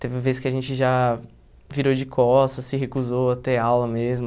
Teve vezes que a gente já virou de costas, se recusou a ter aula mesmo.